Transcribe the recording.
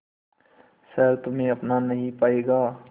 शहर तुम्हे अपना नहीं पाएगा